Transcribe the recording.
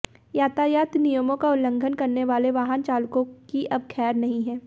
यातायात नियमों का उल्लंघन करने वाले वाहनचालकों की अब खैर नहीं है